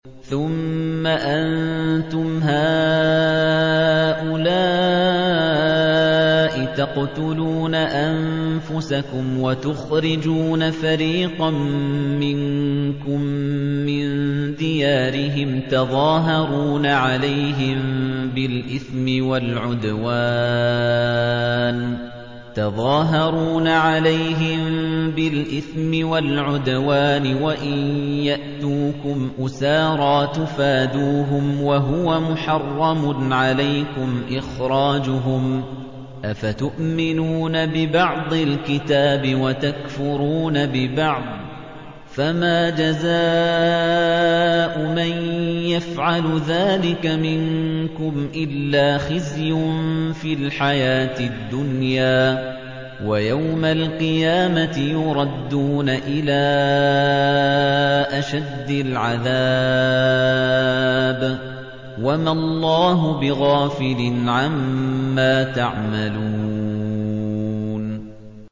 ثُمَّ أَنتُمْ هَٰؤُلَاءِ تَقْتُلُونَ أَنفُسَكُمْ وَتُخْرِجُونَ فَرِيقًا مِّنكُم مِّن دِيَارِهِمْ تَظَاهَرُونَ عَلَيْهِم بِالْإِثْمِ وَالْعُدْوَانِ وَإِن يَأْتُوكُمْ أُسَارَىٰ تُفَادُوهُمْ وَهُوَ مُحَرَّمٌ عَلَيْكُمْ إِخْرَاجُهُمْ ۚ أَفَتُؤْمِنُونَ بِبَعْضِ الْكِتَابِ وَتَكْفُرُونَ بِبَعْضٍ ۚ فَمَا جَزَاءُ مَن يَفْعَلُ ذَٰلِكَ مِنكُمْ إِلَّا خِزْيٌ فِي الْحَيَاةِ الدُّنْيَا ۖ وَيَوْمَ الْقِيَامَةِ يُرَدُّونَ إِلَىٰ أَشَدِّ الْعَذَابِ ۗ وَمَا اللَّهُ بِغَافِلٍ عَمَّا تَعْمَلُونَ